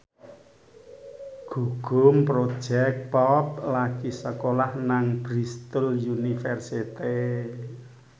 Gugum Project Pop lagi sekolah nang Bristol university